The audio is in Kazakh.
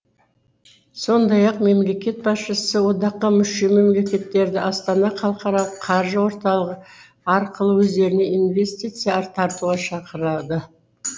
сондай ақ мемлекет басшысы одаққа мүше мемлекеттерді астана халықаралық қаржы орталығы арқылы өздеріне инвестиция тартуға шақырды